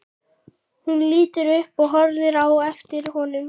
Hún lítur upp og horfir á eftir honum.